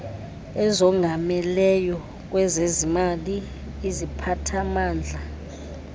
ezongameleyo kwezezimali iziphathamandla